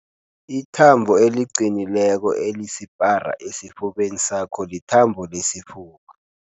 Ithambo eliqinileko elisipara esifubeni sakho lithambo lesifuba.